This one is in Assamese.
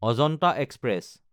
অজন্তা এক্সপ্ৰেছ